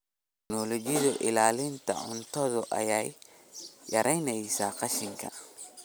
Tignoolajiyada ilaalinta cuntada ayaa yaraynaysa qashinka.